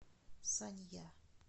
санья